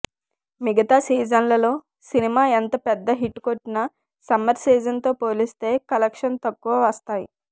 మిగతా సీజన్లలో సినిమా ఎంత పెద్ద హిట్ కొట్టినా సమ్మర్ సీజన్ తో పోలిస్తే కలెక్షన్స్ తక్కువ వస్తాయి